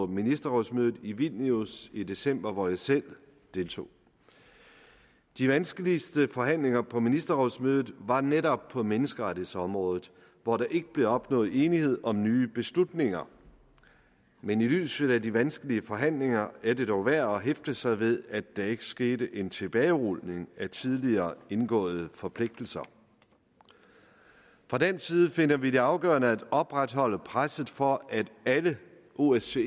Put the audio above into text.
ministerrådsmødet i vilnius i december hvor jeg selv deltog de vanskeligste forhandlinger på ministerrådsmødet var netop på menneskerettighedsområdet hvor der ikke blev opnået enighed om nye beslutninger men i lyset af de vanskelige forhandlinger er det dog værd at hæfte sig ved at der ikke skete en tilbagerulning af tidligere indgåede forpligtelser fra dansk side finder vi det afgørende at opretholde presset for at alle osce